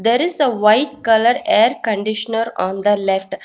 there is a white colour air conditioner on the left--